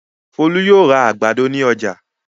Folú yóò ra àgbàdo ní ọjà.